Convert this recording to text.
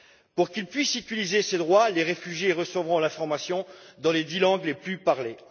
Pour qu'ils puissent exercer ces droits, les réfugiés recevront l'information dans les dix langues les plus parlées.